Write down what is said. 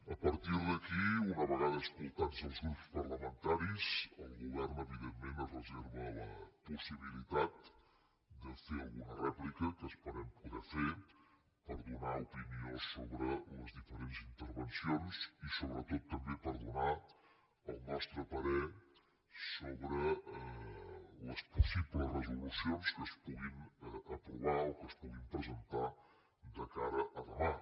a partir d’aquí una vegada escoltats els grups parlamentaris el govern evidentment es reserva la possibilitat de fer alguna rèplica que esperem poder fer per donar opinió sobre les diferents intervencions i sobretot també per donar el nostre parer sobre les possibles resolucions que es puguin aprovar o que es puguin presentar de cara a demà